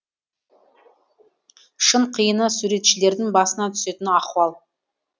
шын қиыны суретшілердің басына түсетін ахуал